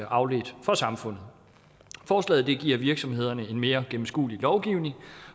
afledt form for samfundet forslaget giver virksomhederne en mere gennemskuelig lovgivning